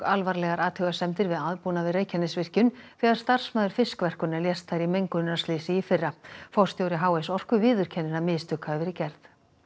alvarlegar athugasemdir við aðbúnað við Reykjanesvirkjun þegar starfsmaður fiskverkunar lést þar í mengunarslysi í fyrra forstjóri h s Orku viðurkennir að mistök hafi verið gerð